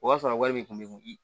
O b'a sɔrɔ wari bɛ kun